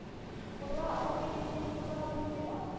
கொடுறா அக்கா சேர்த்து வைக்கிறேன் கொடுறா அப்படின்னு கேட்டா